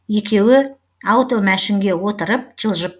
екеуі аутомәшінге отырып жылжып